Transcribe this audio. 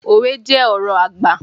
Òwe jẹ́ ọ̀rọ̀ àgbà.